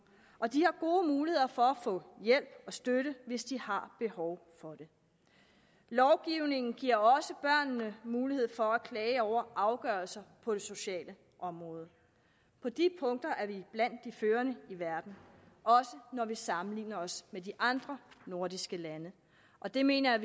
og de har gode muligheder for at få hjælp og støtte hvis de har behov for det lovgivningen giver også børnene mulighed for at klage over afgørelser på det sociale område på de punkter er vi blandt de førende i verden også når vi sammenligner os med de andre nordiske lande og det mener jeg